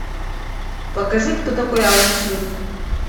покажи кто такой алан смит